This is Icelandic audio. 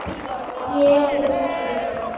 Ég, þú og kisi.